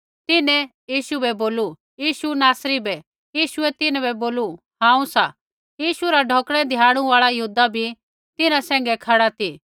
तिन्हैं यीशु बै बोलू यीशु नासरी बै यीशुऐ तिन्हां बै बोलू हांऊँ सा यीशु रा ढौकणै धियाणु आल़ा यहूदा भी तिन्हां सैंघै खड़ा ती